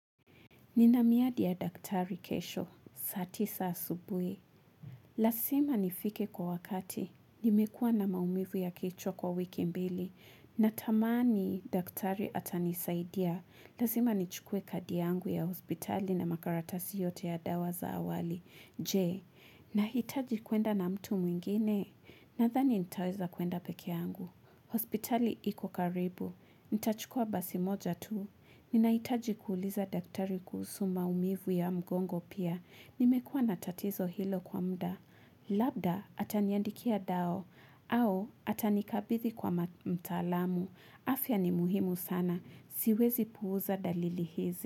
Nina miadi ya daktari kesho, saa tisa asubui. Lasima nifike kwa wakati. Nimekuwa na maumivu ya kichwa kwa wiki mbili. Natamani daktari atanisaidia. Lasima nichukue kadi yangu ya hospitali na makaratasi yote ya dawa za awali. Jee, nahitaji kuenda na mtu mwingine. Nadhani nitaweza kuenda peke yangu. Hospitali iko karibu. Nitachukua basi moja tu. Ninahitaji kuuliza daktari kuhusu maumivu ya mgongo pia. Nimekuwa na tatizo hilo kwa mda. Labda, ataniandikia dao. Au, atanikabithi kwa mtalamu. Afya ni muhimu sana. Siwezi puuza dalili hizi.